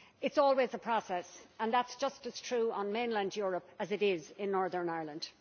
It is always a process and that is just as true in mainland Europe as it is in Northern Ireland.